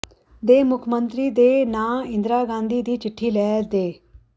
ਦੇ ਮੁੱਖ ਮੰਤਰੀ ਦੇ ਨਾਂ ਇੰਦਰਾ ਗਾਂਧੀ ਦੀ ਚਿੱਠੀ ਲੈ ਦੇ